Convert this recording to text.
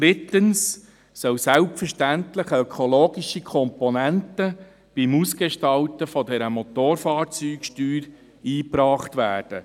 Drittens soll selbstverständlich eine ökologische Komponente beim Ausgestalten dieser Motorfahrzeugsteuer eingebracht werden.